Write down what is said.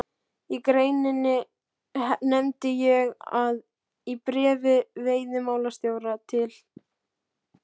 Í greininni nefndi ég að í bréfi veiðimálastjóra til